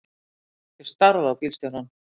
Ég starði á bílstjórann.